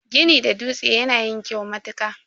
Gini da dutse yana yin kyau matuka.